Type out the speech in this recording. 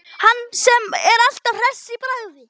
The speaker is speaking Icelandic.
Hann sem er alltaf hress í bragði.